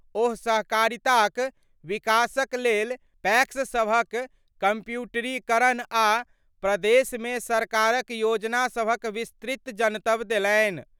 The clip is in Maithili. ओ सहकारिता क विकास क लेल पैक्स सभक क कंप्यूटरीकरण आ प्रदेश मे सरकार क योजना सभक विस्तृत जनतब देलनि।